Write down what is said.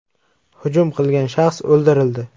Hujum qilgan shaxs o‘ldirildi.